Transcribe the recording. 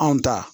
Anw ta